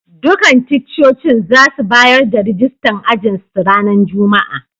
Dukan ticcocin za su bayar da rijistan ajin su ranan Juma'a.